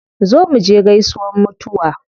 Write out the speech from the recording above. Zo muje gaisuwan mutuwa